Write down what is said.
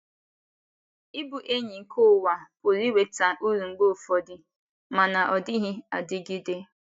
Ịbụ enyi nke ụwa pụrụ iweta uru mgbe ụfọdụ, mana ọ dịghị adịgide.